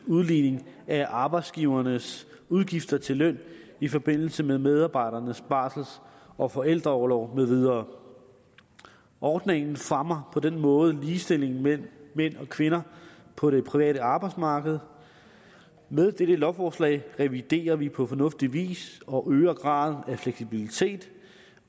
udligning af arbejdsgivernes udgifter til løn i forbindelse med medarbejdernes barsel og forældreorlov med videre ordningen fremmer på den måde ligestillingen mellem mænd og kvinder på det private arbejdsmarked med dette lovforslag reviderer vi på fornuftig vis og øger graden af fleksibilitet